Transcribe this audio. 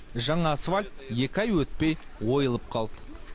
жаңа асфальт екі ай өтпей ойылып қалды